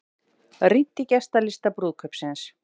Rýnt í gestalista brúðkaupsins